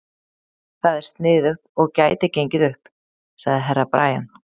Það er sniðugt og gæti gengið upp, sagði Herra Brian.